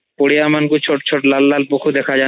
ପଡିଆମାନଂକ ରେ ଛୋଟ ଛୋଟ ଲାଲ ଲାଲ ପୋକୋ ଦେଖାଯାନ୍ତି